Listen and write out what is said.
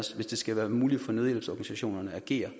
os hvis det skal være muligt for nødhjælpsorganisationerne at agere